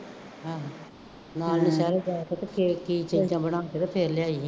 ਹਾਂ ਨਾਲ ਦੇ ਸਾਰੇ ਫੇਰ ਲਿਆਈ